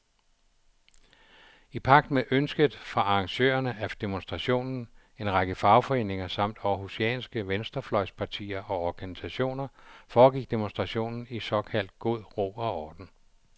I pagt med ønsket fra arrangørerne af demonstrationen, en række fagforeninger samt århusianske venstrefløjspartier og organisationer, foregik demonstrationen i såkaldt god ro og orden.